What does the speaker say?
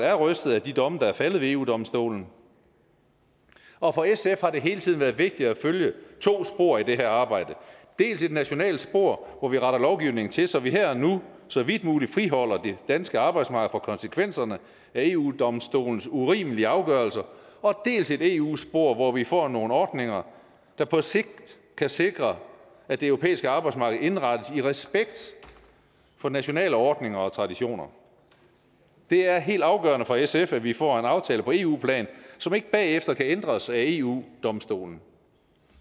er rystet af de domme der er faldet ved eu domstolen og for sf har det hele tiden været vigtigt at følge to spor i det her arbejde dels et nationalt spor hvor vi retter lovgivningen til så vi her og nu så vidt muligt friholder det danske arbejdsmarked for konsekvenserne af eu domstolens urimelige afgørelser dels et eu spor hvor vi får nogle ordninger der på sigt kan sikre at det europæiske arbejdsmarked indrettes i respekt for nationale ordninger og traditioner det er helt afgørende for sf at vi får en aftale på eu plan som ikke bagefter kan ændres af eu domstolen